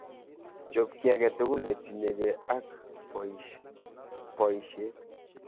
Chob ki age tugul netinyekei ak boishet.